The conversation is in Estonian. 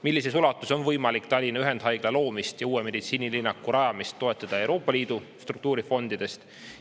Millises ulatuses on võimalik Tallinna Ühendhaigla loomist ja uue meditsiinilinnaku rajamist toetada Euroopa Liidu struktuurifondidest?